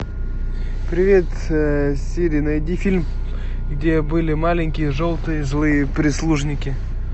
привет сири найди фильм где были маленькие желтые злые прислужники